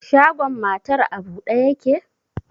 Shagon matar a bude yake?